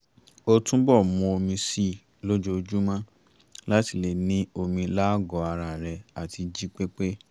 ó túbọ̀ mu omi si lójóojúmọ́ láti lè ní omi lágọ̀ọ́ ara rẹ̀ àti jí pé pé